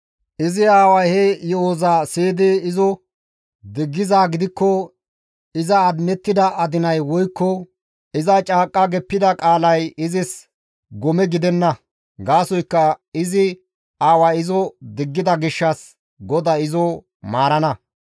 Izi aaway he yo7oza siyidi izo diggizaa gidikko iza adinettida adinay woykko iza caaqqa geppida qaalay izis gome gidenna; gaasoykka izi aaway izo diggida gishshas GODAY izo maarana.